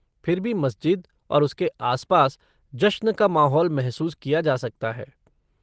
फिर भी मस्जिद और उसके आसपास जश्न का माहौल महसूस किया जा सकता है।